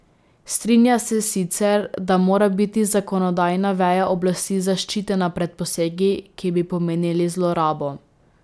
Strinja se sicer, da mora biti zakonodajna veja oblasti zaščitena pred posegi, ki bi pomenili zlorabo.